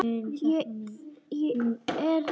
Er þér illa við hana?